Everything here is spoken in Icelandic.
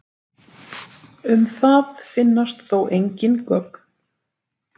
Um það finnast þó engin gögn.